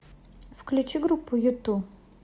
включи группу юту